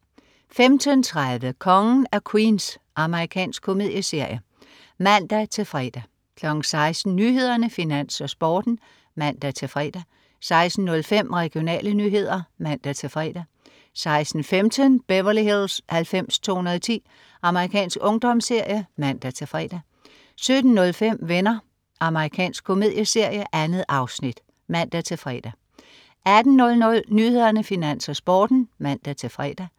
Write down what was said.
15.30 Kongen af Queens. Amerikansk komedieserie (man-fre) 16.00 Nyhederne, Finans, Sporten (man-fre) 16.05 Regionale nyheder (man-fre) 16.15 Beverly Hills 90210. Amerikansk ungdomsserie (man-fre) 17.05 Venner. Amerikansk komedieserie. 2 afsnit (man-fre) 18.00 Nyhederne, Finans, Sporten (man-fre)